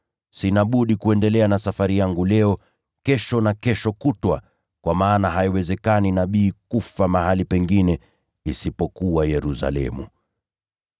Sina budi kuendelea na safari yangu leo, kesho na kesho kutwa: kwa maana haiwezekani nabii kufa mahali pengine isipokuwa Yerusalemu.